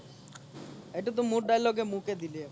এইতো তোহ মোৰ dialogue মোকেই দি দিলি